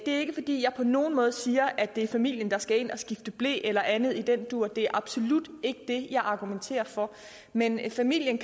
er ikke fordi jeg på nogen måde siger at det er familien der skal ind og skifte ble eller andet i den dur det er absolut ikke det jeg argumenterer for men familien